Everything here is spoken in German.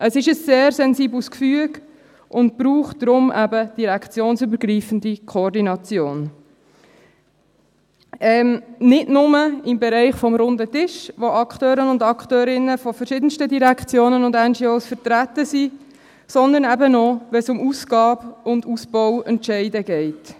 Es ist ein sehr sensibles Gefüge und braucht deswegen eben direktionsübergreifende Koordination, nicht nur im Bereich des Runden Tischs, wo Akteure und Akteurinnen verschiedenster Direktionen und NGOs vertreten sind, sondern eben auch, wenn es um Ausgabe- und Ausbauentscheide geht.